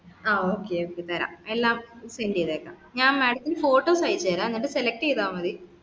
ആ okay okay തരാം ellam sent cheythekam